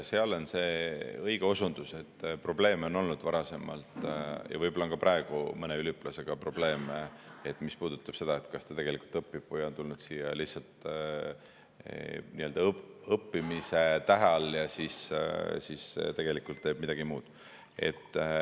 Tegelikult, see on õige osundus, et probleeme on olnud varasemalt ja võib-olla on ka praegu mõne üliõpilasega probleeme, mis puudutab seda, kas ta õpib või on tulnud siia lihtsalt õppimise tähe all ja tegelikult teeb midagi muud.